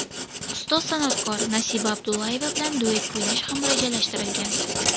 Ustoz san’atkor Nasiba Abdullayeva bilan duet kuylash ham rejalashtirilgan.